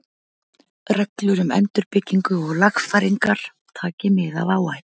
Reglur um endurbyggingu og lagfæringar, taki mið af áhættu.